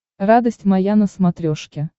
радость моя на смотрешке